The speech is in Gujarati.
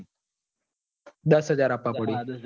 દસ હાજર આપવા પડે.